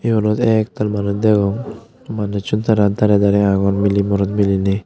yot oley ektal manus degong manusun tara darey darey agon miley morot miliney.